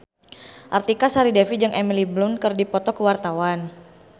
Artika Sari Devi jeung Emily Blunt keur dipoto ku wartawan